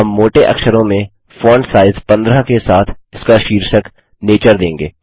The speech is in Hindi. हम मोटे अक्षरों में फॉन्ट साइज़ 15 के साथ इसका शीर्षक नेचर देंगे